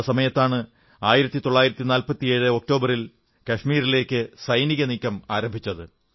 ആ സമയത്താണ് 1947 ഒക്ടോബറിൽ കാശ്മീരിലേക്ക് സൈനികനീക്കം ആരംഭിച്ചത്